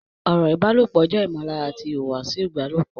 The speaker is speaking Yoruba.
Ọ̀rọ̀ ìbálòpọ̀ jẹ́ ìmọ̀lára àti ìhùwàsí ìbálòpọ̀